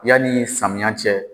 Yanni samiyan cɛ.